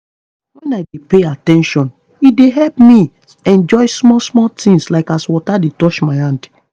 when i dey pay at ten tion e dey help me enjoy small-small things like as water dey touch my hand